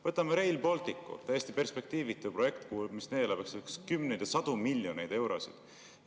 Võtame Rail Balticu – täiesti perspektiivitu projekt, mis neelab kümneid ja sadu miljoneid eurosid.